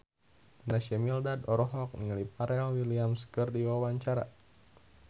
Naysila Mirdad olohok ningali Pharrell Williams keur diwawancara